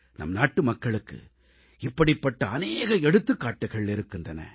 நம் நாட்டுமக்களுக்கு இப்படிப்பட்ட அநேக எடுத்துக்காட்டுக்கள் இருக்கின்றன